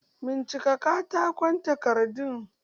Bincika katakon takardu!